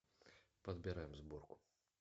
подбираем сборку